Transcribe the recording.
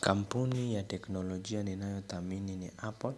Kampuni ya teknolojia ninayothamini ni Apple